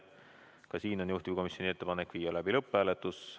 Ka siin on juhtivkomisjoni ettepanek viia läbi lõpphääletus.